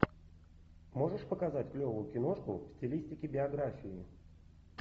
можешь показать клевую киношку в стилистике биографии